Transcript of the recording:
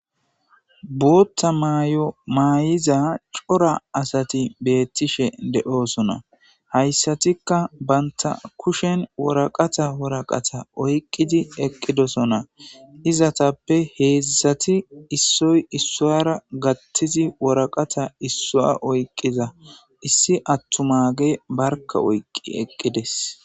Bootta mayomaay7iza cora asati beettishe de7oosona hayssatikka banta kushen woraqata woraqata oyqqidi eqqidosona izatappe heedzisati issoy issuwara gattizi woraqata issua oyqqiza issi attu maage barka oyqqi eqqides